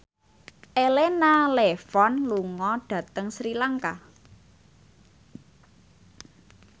Elena Levon lunga dhateng Sri Lanka